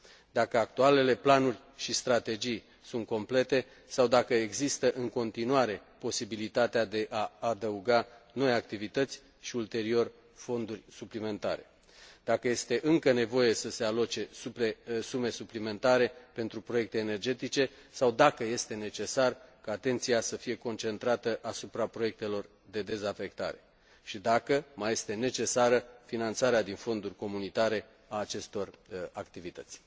dacă actualele planuri și strategii sunt complete sau dacă există în continuare posibilitatea de a adăuga noi activități și, ulterior, fonduri suplimentare, dacă este încă nevoie să se aloce sume suplimentare pentru proiecte energetice sau dacă este necesar ca atenția să fie concentrată asupra proiectelor de dezafectare și dacă mai este necesară finanțarea din fonduri comunitare a acestor activități.